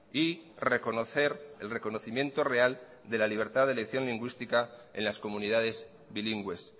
y reconocer el reconocimiento real de la libertad de elección lingüística en las comunidades bilingües